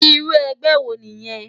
Irú ègbè wó niyèn?